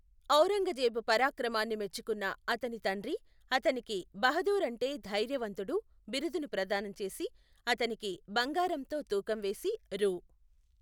ఔరంగజేబు పరాక్రమాన్ని మెచ్చుకున్న అతని తండ్రి అతనికి బహదూర్ అంటే ధైర్యవంతుడు బిరుదును ప్రదానం చేసి, అతనికి బంగారంతో తూకం వేసి, రూ.